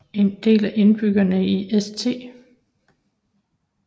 En del af indbyggerne i St